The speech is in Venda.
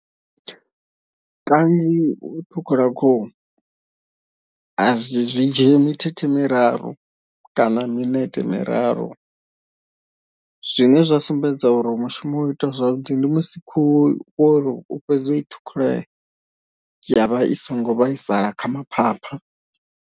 Kanzhi u ṱhukhula khuhu azwi zwi dzhie mithethe miraru kana minete miraru. Zwine zwa sumbedza uri mushumo wo itiwa zwavhuḓi ndi musi khuhu wori u tshi fhedza u i ṱhukhula ya vha i songo vhaisala kha ma phapha.